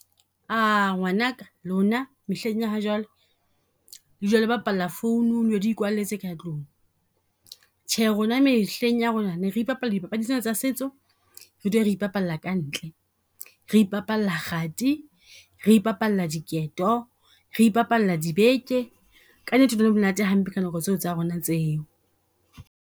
Ngwanaka lona mehleng ya ha jwale, le dula le bapalla phone-ung le ikwalletse ka tlung. Tjhe rona mehleng ya rona ne re ipapalla dipapadi tsena tsa setso. Re dule re ka ntle, re ipapalla kgati, re ipapalla diketo, re ipapalla dibeke. Ka nnete hi le monate hampe ka nako tseo tsa rona tseo.